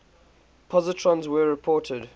positrons were reported